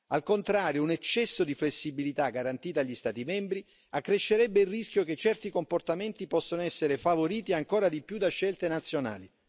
Al contrario un eccesso di flessibilità garantita agli Stati membri accrescerebbe il rischio che certi comportamenti possano essere favoriti ancora di più da scelte nazionali.